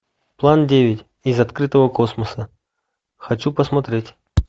план девять из открытого космоса хочу посмотреть